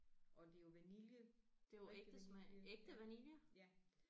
Og det er jo vanilje rigtig vanilje ja